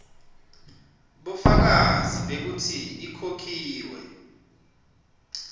bufakazi bekutsi ikhokhiwe